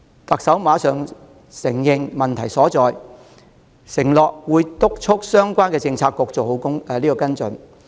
特首馬上承認確有問題，並承諾會督促相關政策局做好跟進。